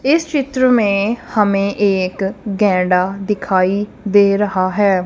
इस चित्र में हमें एक गेड़ा दिखाई दे रहा है।